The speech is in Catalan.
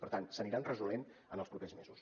per tant s’aniran resolent en els propers mesos